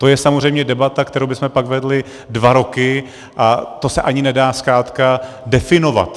To je samozřejmě debata, kterou bychom potom vedli dva roky, a to se ani nedá zkrátka definovat.